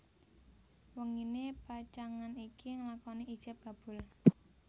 Wenginé pacangan iki nglakoni ijab kabul